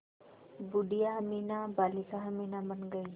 बूढ़िया अमीना बालिका अमीना बन गईं